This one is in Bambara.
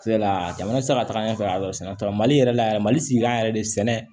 jamana tɛ se ka taga ɲɛfɛ sɛnɛ t'a la mali yɛrɛ la yɛrɛ mali sigi an yɛrɛ de sɛnɛ